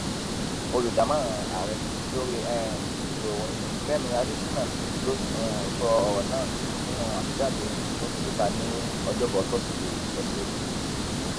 olùdámọràn ààrẹ lórí um ètò ìròyìn fẹmi adésínà ló um sọrọ náà nínú àtẹjáde tó fi síta ní ọjọbọ tọsídẹẹ ọsẹ yìí